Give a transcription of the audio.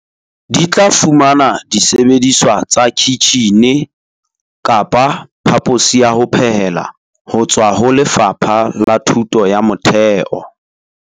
Di tla fumana disebediswa tsa kitjhine ho tswaho Lefapha la Thuto ya Motheo.